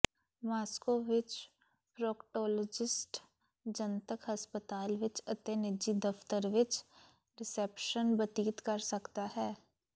Moscow ਵਿੱਚ proctologist ਜਨਤਕ ਹਸਪਤਾਲ ਵਿਚ ਅਤੇ ਨਿੱਜੀ ਦਫਤਰ ਵਿਚ ਰਿਸੈਪਸ਼ਨ ਬਤੀਤ ਕਰ ਸਕਦਾ ਹੈ